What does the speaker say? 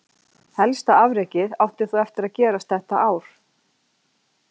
Helsta afrekið átti þó eftir gerast þetta ár.